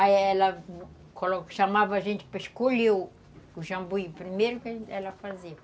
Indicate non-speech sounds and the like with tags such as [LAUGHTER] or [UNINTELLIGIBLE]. Aí ela [UNINTELLIGIBLE] chamava a gente para escolher o o jambuí, primeiro que ela fazia.